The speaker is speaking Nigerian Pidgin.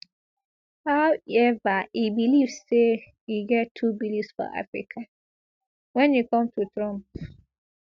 howeva e believe say e get two beliefs for africa wen e come to trump